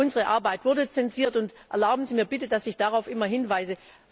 Unsere Arbeit wurde zensiert, und erlauben Sie mir bitte, dass ich darauf immer hinweise.